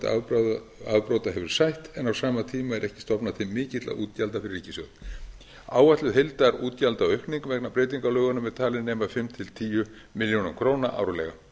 þolenda afbrota hefur sætt en á sama tíma er ekki stofnað til mikilla útgjalda fyrir ríkissjóð áætluð heildarútgjaldaaukning vegna breytinga á lögunum er talin nema fimm til tíu milljónir króna árlega